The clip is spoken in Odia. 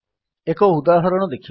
ଏକ ଉଦାହରଣ ଦେଖିବା